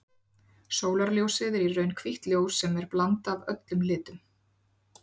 Sólarljósið er í raun hvítt ljós sem er blanda af öllum litum.